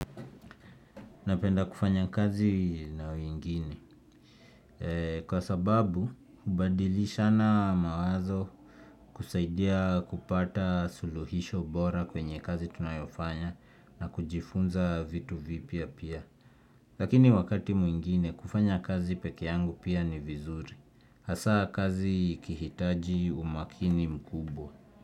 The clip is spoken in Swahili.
Napenda kufanya kazi na wengine. Kwa sababu, kubadilishana mawazo kusaidia kupata suluhisho bora kwenye kazi tunayoifanya na kujifunza vitu vipya pia. Lakini wakati mwingine, kufanya kazi peke yangu pia ni vizuri. Hasaa kazi ikihitaji umakini mkubwa.